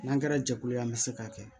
N'an kɛra jɛkulu ye an bɛ se k'a kɛ